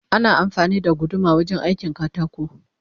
Ana amfani da guduma wajen aikin katako